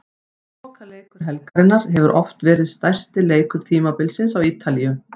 Lokaleikur helgarinnar hefur oft verið stærsti leikur tímabilsins á Ítalíu.